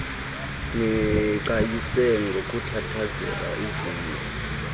niqhayise ngokuthandazela izono